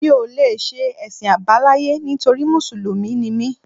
Mi ò lè ṣe Ẹ̀sìn àbáláyé nítorí Mùsùlùmí ni mí